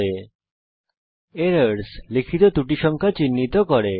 errors -আপনার দ্বারা লিখিত ত্রুটি সংখ্যা চিহ্নিত করে